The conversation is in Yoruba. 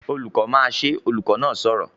"Olùkọ́ máa ṣe!", olùkọ́ náà sọ̀rọ̀